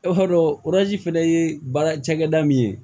E b'a dɔn fɛnɛ ye baara cakɛda min ye